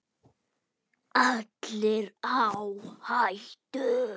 Allir á hættu.